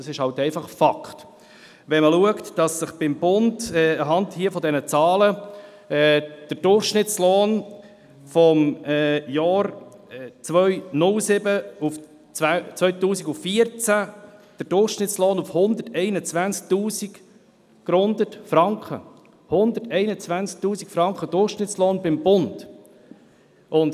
Dies ist einfach ein Fakt, wenn man anhand der Zahlen sieht, dass der Durchschnittslohn beim Bund zwischen 2007 und 2014 gerundet bei 121 000 Franken gelegen hat.